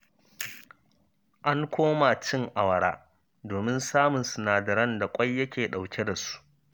An koma cin awara, domin samun sinadaran da ƙwai yake ɗauke da su.